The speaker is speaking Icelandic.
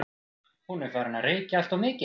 Hún er farin að reykja alltof mikið.